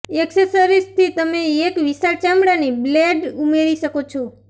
એક્સેસરીઝથી તમે એક વિશાળ ચામડાની બેલ્ટ ઉમેરી શકો છો